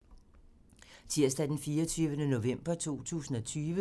Tirsdag d. 24. november 2020